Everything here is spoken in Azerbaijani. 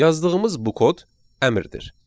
Yazdığımız bu kod əmrdir.